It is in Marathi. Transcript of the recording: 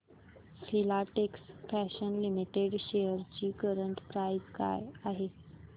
फिलाटेक्स फॅशन्स लिमिटेड शेअर्स ची करंट प्राइस काय आहे